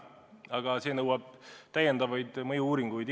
Aga see nõuab täiendavaid mõju-uuringuid.